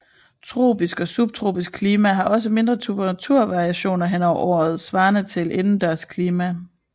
Tropisk og subtropisk klima har også mindre temperaturvariation hen over året svarende til indendørs klima